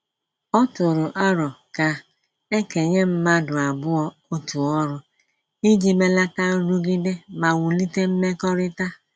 Ọ tụrụ arọ ka ekenye mmadụ abụọ otu ọrụ, iji melata nrụgide ma wulite mmekọrịta